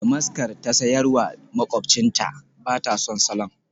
Damaskar ta sayar wa makwabcinta, ba ta son salon.